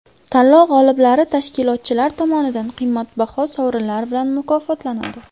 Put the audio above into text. Tanlov g‘oliblari tashkilotchilar tomonidan qimmatbaho sovrinlar bilan mukofotlanadi.